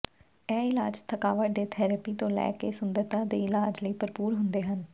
ਇਹ ਇਲਾਜ ਥਕਾਵਟ ਦੇ ਥੈਰੇਪੀ ਤੋਂ ਲੈ ਕੇ ਸੁੰਦਰਤਾ ਦੇ ਇਲਾਜ ਲਈ ਭਰਪੂਰ ਹੁੰਦੇ ਹਨ